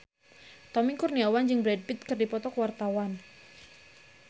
Tommy Kurniawan jeung Brad Pitt keur dipoto ku wartawan